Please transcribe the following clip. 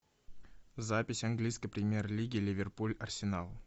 запись английской премьер лиги ливерпуль арсенал